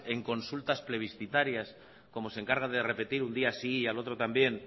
en consultas plebiscitarias como se encargan de repetir un día sí y al otro también